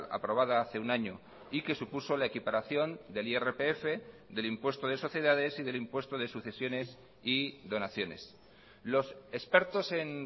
aprobada hace un año y que supuso la equiparación del irpf del impuesto de sociedades y del impuesto de sucesiones y donaciones los expertos en